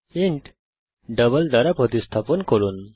int double দ্বারা প্রতিস্থাপন করুন